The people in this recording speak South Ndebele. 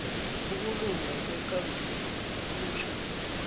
ukulunga kwekambiso kutjho